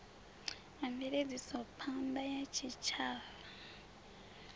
wa mveledzisophan ḓa ya tshitshavha